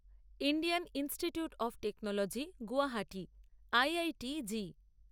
Indian Institute of Technology Guwahati IITG